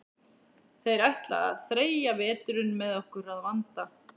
Þeir ætla að þreyja veturinn með okkur að vanda.